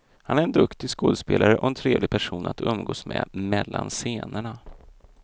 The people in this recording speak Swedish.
Han är en duktig skådespelare, och en trevlig person att umgås med mellan scenerna.